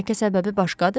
Bəlkə səbəbi başqadır?